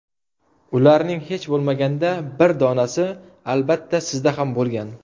Ularning hech bo‘lmaganda bir donasi, albatta, sizda ham bo‘lgan.